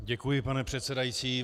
Děkuji, pane předsedající.